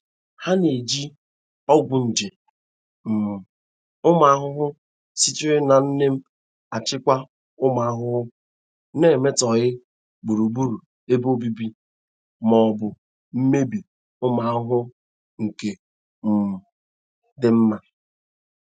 Ha na-eji ọgwụ nje um ụmụ ahụhụ sitere na neem achịkwa ụmụ ahụhụ, na-emetọghị gburugburu ebe obibi ma ọ bụ mebie ụmụ ahụhụ nke um dị mma.